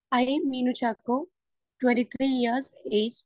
speaker 2 ഇ, Neenu Chacko, twenty three years age